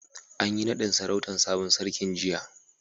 An yi nadin sarautan sabon sarkin jiya.